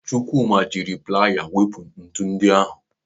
Chukwuma jiri playa wepụta ntụ ndị ahụ.